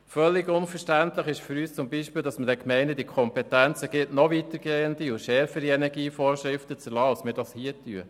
Völlig unverständlich ist für uns zum Beispiel, dass man den Gemeinden die Kompetenz gibt, nochweitergehende und schärfere Energievorschriften zu erlassen, als wir es hier tun.